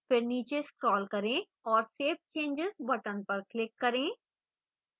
फिर नीचे scroll करें और save changes button पर click करें